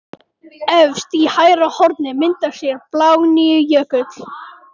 Efst í hægra horni myndar sér í Blágnípujökul.